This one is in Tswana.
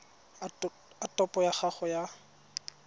a topo ya gago ya